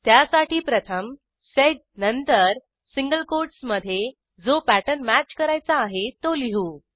त्यासाठी प्रथम सेड नंतर सिंगल कोटसमधे जो पॅटर्न मॅच करायचा आहे तो लिहू